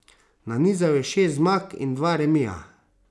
Nanizal je šest zmag in dva remija.